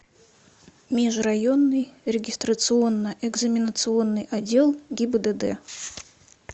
межрайонный регистрационно экзаменационный отдел гибдд